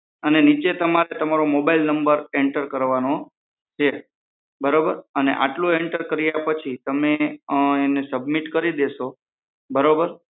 અને નીચે તમારે તમારો mobile નંબર એન્ટર કરવાનો છે બરોબર અને આટલું એન્ટર કાર્ય પછી તમે તેને સબમિટ કરી દેશો બરોબર